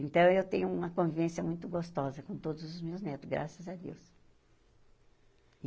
Então, eu tenho uma convivência muito gostosa com todos os meus netos, graças a Deus.